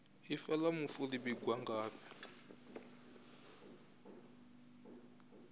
ifa la mufu li vhigwa ngafhi